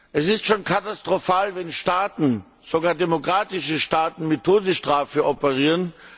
Es ist schon katastrophal, wenn Staaten, sogar demokratische Staaten, mit Todesstrafe operieren.